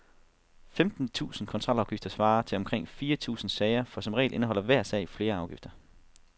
Femten tusinde kontrolafgifter svarer til omkring fire tusinde sager, for som regel indeholder hver sag flere afgifter.